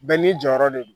Bɛɛ n'i jɔyɔrɔ de don